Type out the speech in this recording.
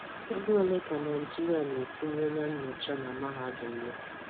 Ego ole ka Naịjirịa na-etinye na nnyocha na mahadum nnyocha na mahadum ya?